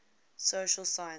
social sciences